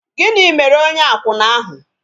Gịnị mere onye akwụna ahụ?